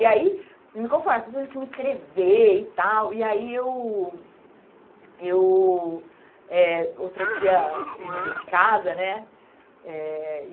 E aí, não me conformo, as pessoas tinham que me inscrever e tal, e aí eu... Eu... eh Outro dia eu mudei de casa, né? Eh